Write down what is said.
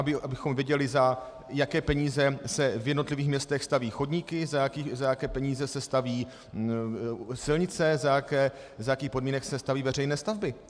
Abychom viděli, za jaké peníze se v jednotlivých městech staví chodníky, za jaké peníze se staví silnice, za jakých podmínek se staví veřejné stavby.